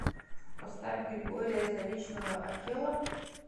поставь григория заречного акела